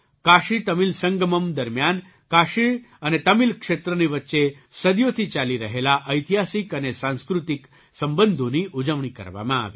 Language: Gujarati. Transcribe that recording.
કાશીતમિલ સંગમમ્ દરમિયાન કાશી અને તમિલ ક્ષેત્રની વચ્ચે સદીઓથી ચાલી રહેલા ઐતિહાસિક અને સાંસ્કૃતિક સંબંધોની ઉજવણી કરવામાં આવી